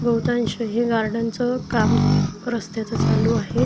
बहुतांश हे गार्डनचं काम रस्त्याचं चालू आहे.